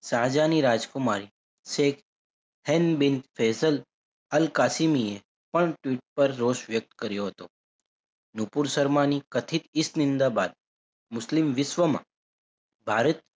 સાહજહાની રાજકુમારી Sheikh Hend bin Faisal Al કાશીમિએ પણ tweet પર રોજ વ્યકત કર્યો હતો. નુપુર સરમાની કથિત ઇસ નિંદા બાદ મુસ્લિમ વિશ્વમાં ભારત,